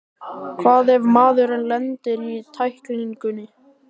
Hvað ef maðurinn lendir í tæklingunni?